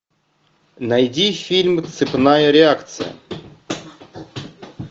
найди фильм цепная реакция